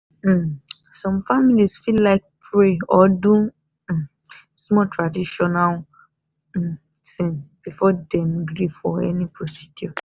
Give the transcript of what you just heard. um some families fit like pray or do um small traditional um thing before dem gree for any procedure.